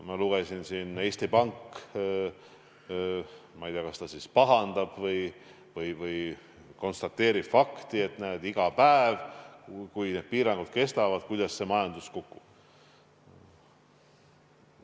Ma lugesin, et Eesti Pank siin, ma ei tea, kas pahandab või konstateerib fakti, et näed, iga päevaga, kui piirangud kestavad, majandus kukub.